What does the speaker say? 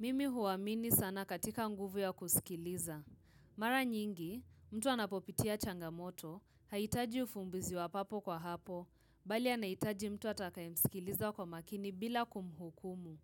Mimi huamini sana katika nguvu ya kusikiliza. Mara nyingi, mtu anapopitia changamoto, hahitaji ufumbizi wa papo kwa hapo, bali anahitaji mtu atakayemsikiliza kwa makini bila kumhukumu.